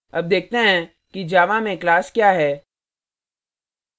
अब देखते हैं कि java में class क्या है